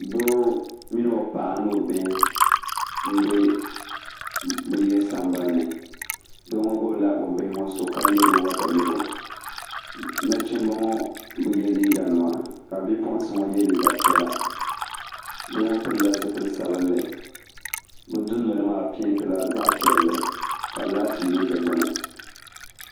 doo mini o paɣa ni o bihi n-be bɛ yili sambani ni doo ŋɔ gbubila o bihi ŋɔ so ka lɛri o watamilo nachimba ŋɔ bi ye liiganima ka bipuɣinsi ye liiga piɛla doo ŋɔ pilila zipil' sabilinli bɛ dundoli maa peentila zaɣ' piɛlli ka laati yili di gbuni